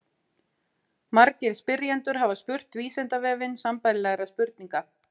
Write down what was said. Margir spyrjendur hafa spurt Vísindavefinn sambærilegra spurninga.